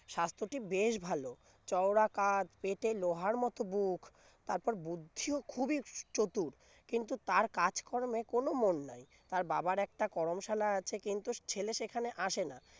স্বাস্থ্যটি বেশ ভালো চওড়া কাঁধ পেটে লোহার মত বুক তারপর বুদ্ধিও খুবই চতুর কিন্তু তার কাজকর্মে কোন মন নাই তার বাবার একটা করম সালা আছে কিন্তু ছেলে সেখানে আসে না